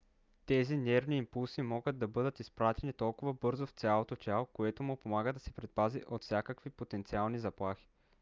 тези нервни импулси могат да бъдат изпратени толкова бързо в цялото тяло което му помага да се предпази от всякакви потенциални заплахи